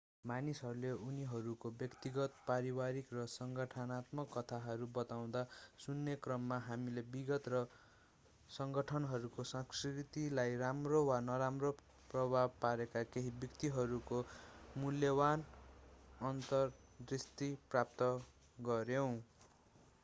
मानिसहरूले उनीहरूको व्यक्तिगत पारिवारिक र संगठनात्मक कथाहरू बताउँदा सुन्ने क्रममा हामीले विगत र संगठनको संस्कृतिलाई राम्रो वा नराम्रो प्रभाव पारेका केही व्यक्तित्वहरूको मूल्यवान अन्तरदृष्टि प्राप्त गर्यौं